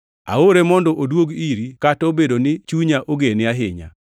Aore mondo oduog iri, kata obedo ni chunya ogene ahinya.